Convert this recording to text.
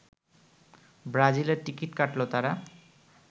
ব্রাজিলের টিকিট কাটল তারা